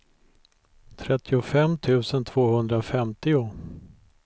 trettiofem tusen tvåhundrafemtio